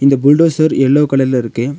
இந்த bulldozer yellow கலர்ல இருக்கு.